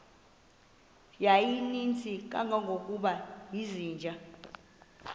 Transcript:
yayininzi kangangokuba izinja